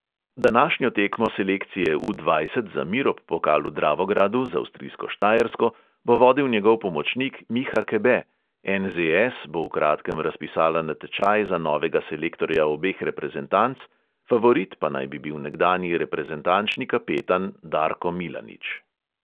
Današnjo tekmo selekcije U dvajset za mirop pokal v dravogradu z avstrijsko štajersko bo vodil njegov pomočnik miha kebe, NZS bo v kratkem razpisala natečaj za novega selektorja obeh reprezentanc, favorit pa naj bi bil nekdanji reprezentančni kapetan darko milanič.